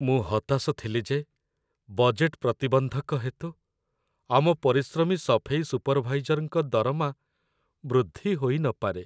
ମୁଁ ହତାଶ ଥିଲି ଯେ ବଜେଟ୍‌‌‌ ପ୍ରତିବନ୍ଧକ ହେତୁ ଆମ ପରିଶ୍ରମୀ ସଫେଇ ସୁପର୍‌ଭାଇଜର୍‌ଙ୍କର ଦରମା ବୃଦ୍ଧି ହୋଇନପାରେ।